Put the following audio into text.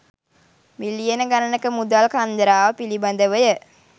මිලියන ගණනක මුදල් කන්දරාව පිළිබඳවය.